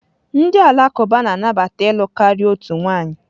Ndị Alakụba na-anabata ịlụ karịa otu nwanyị.